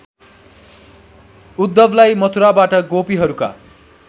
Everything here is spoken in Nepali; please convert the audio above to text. उद्धवलाई मथुराबाट गोपीहरूका